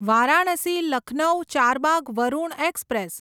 Varanasi Lucknow Charbagh Varuna express